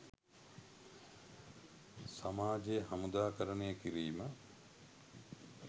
සමාජය හමුදාකරණය කිරීම